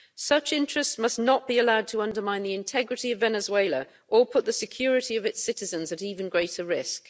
Such interests must not be allowed to undermine the integrity of Venezuela or put the security of its citizens at even greater risk.